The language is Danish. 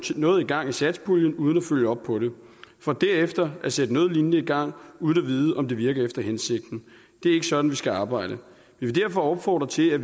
noget i gang i satspuljen uden at følge op på det for derefter at sætte noget lignende i gang uden at vide om det virker efter hensigten det er ikke sådan vi skal arbejde vi vil derfor opfordre til at